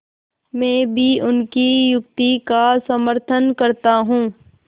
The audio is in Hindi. मैं भी उनकी युक्ति का समर्थन करता हूँ